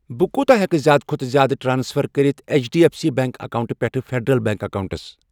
بہٕ کوٗتہ ہٮ۪کہٕ زِیٛادٕ کھوتہٕ زِیٛادٕ ٹرانسفر کٔرِتھ H D F C bank اکاونٹہٕ پٮ۪ٹھٕ فیٚڈرَل بیٚنٛک اکاونٹَس۔